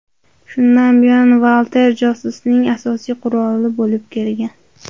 Shundan buyon Walther josusning asosiy quroli bo‘lib kelgan.